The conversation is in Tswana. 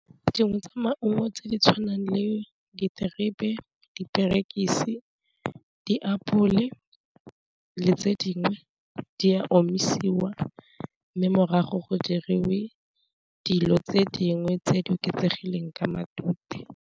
Dingwe tsa maungo tse di tshwanang le diterebe, diperekisi, diapole, le tse dingwe di a omisiwa mme morago go diriwe dilo tse dingwe tse di oketsegileng ka matute.